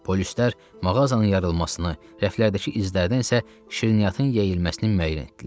Polislər mağazanın yarılmasını, rəflərdəki izlərdən isə şirniyyatın yeyilməsini müəyyən etdilər.